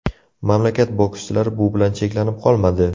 Mamlakat bokschilari bu bilan cheklanib qolmadi.